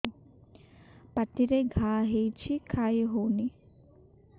ପାଟିରେ ଘା ହେଇଛି ଖାଇ ହଉନି